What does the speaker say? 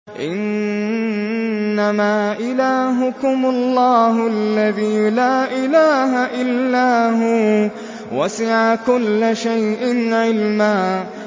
إِنَّمَا إِلَٰهُكُمُ اللَّهُ الَّذِي لَا إِلَٰهَ إِلَّا هُوَ ۚ وَسِعَ كُلَّ شَيْءٍ عِلْمًا